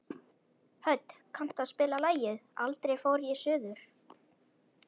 Hödd, kanntu að spila lagið „Aldrei fór ég suður“?